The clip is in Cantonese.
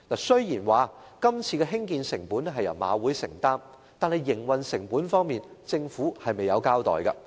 雖然今次的興建成本由香港賽馬會承擔，但營運成本方面，政府卻未有交代。